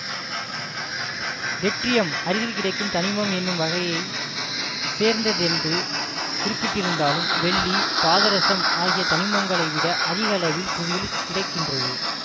terbium அரிதில் கிடைக்கும் தனிமம் என்னும் வகையை சேர்ந்ததென்று குறிப்பிட்டிருந்தாலும் வெள்ளி பாதரசம் ஆகிய தனிமங்களைவிட அதிக அளவில் புவியில் கிடை கின்றது